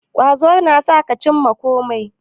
Ƙwazo na sa ka cimma kome